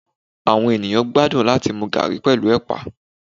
awọn eníyan gbadun latí mú garri pẹlu epà